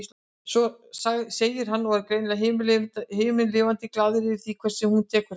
segir hann og er greinilega himinlifandi glaður yfir því hvernig hún tekur þessu.